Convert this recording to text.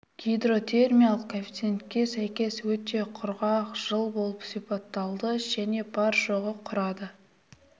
гидротермиялық коэффициентке сәйкес өте құрғақ жыл болып сипатталды және бар жоғы құрады